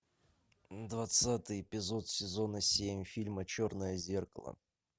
двадцатый эпизод сезона семь фильма черное зеркало